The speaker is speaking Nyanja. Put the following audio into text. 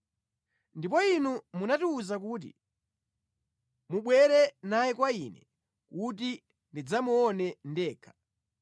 “Ndipo inu munatiwuza kuti, ‘Mubwere naye kwa ine kuti ndidzamuone ndekha.’